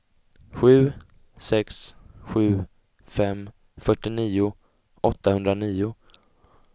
sju sex sju fem fyrtionio åttahundranio